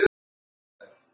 Þarna ólst pabbi upp.